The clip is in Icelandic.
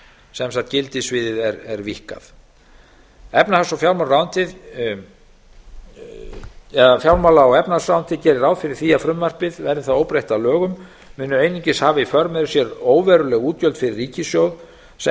sem sagt gildissviðið er víkkað fjármála og efnahagsmálaráðuneytið gerir ráð fyrir því að frumvarpið verði það óbreytt að lögum muni einungis hafa í för með sér óveruleg útgjöld fyrir ríkissjóð sem